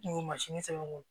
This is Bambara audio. Kungo sɛbɛn